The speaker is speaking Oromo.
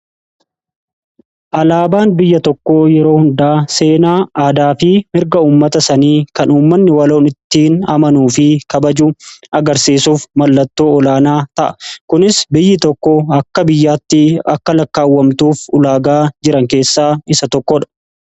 Alaabaan biyya tokko yeroo hundaa seenaa aadaa fi mirga uummata sanii kan uummanni waloon ittiin amanuu fi kabaju agarsiisuuf mallattoo olaanaa ta'a. Kunis biyyi tokko akka biyyaatti akka lakkaawwamtuuf ulaagaa jiran keessaa isa tokkoodha.